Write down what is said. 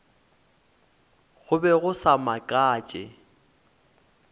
go be go sa makatše